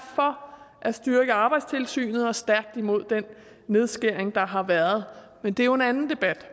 for at styrke arbejdstilsynet og stærkt imod den nedskæring der har været men det er jo en anden debat